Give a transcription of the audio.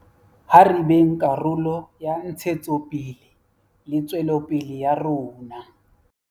Ha re beng karolo ya ntshetsopele le tswelopele ya rona.